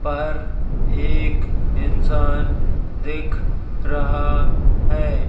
पर एक इंसान दिख रहा है।